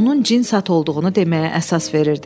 onun cins at olduğunu deməyə əsas verirdi.